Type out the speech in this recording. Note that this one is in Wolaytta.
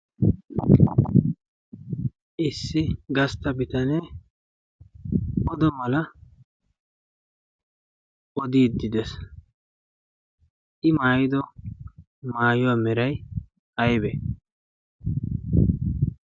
issi gastta bitanee odo mala oodiiddi dees. i maayido maayuwaa merai aibe?